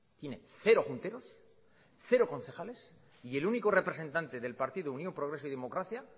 tiene cero junteros cero concejales y el único representante del partido unión progreso y democracia